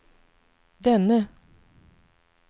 denne